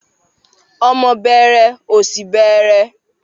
Ọmọ bẹẹrẹ, ọ̀ṣì bẹẹrẹ.